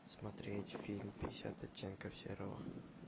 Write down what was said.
смотреть фильм пятьдесят оттенков серого